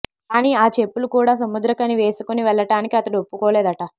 కానీ ఆ చెప్పులు కూడా సముద్రఖని వేసుకుని వెళ్లటానికి అతడు ఒప్పుకోలేదట